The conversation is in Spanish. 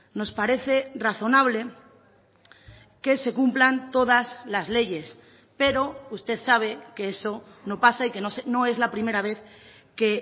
nos parece razonable que se cumplan todas las leyes pero usted sabe que eso no pasa y que no es la primera vez que